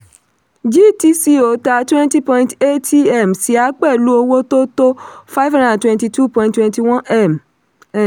gtco tà twenty point eighty m ṣíà pẹ̀lú owó tó tó five hundred and twenty two point twenty one m.